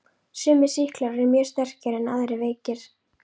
Sumir sýklar eru mjög sterkir en aðrir veikir.